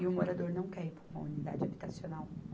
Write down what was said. E o morador não quer ir para uma unidade habitacional.